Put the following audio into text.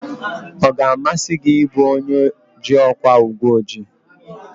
Ọ ga-amasị gị ị bụ onye ji ọkwa uweojii?